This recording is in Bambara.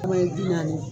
Kuma ye bi naani